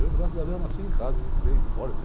Eu, graças a Deus, nasci em casa e me criei forte.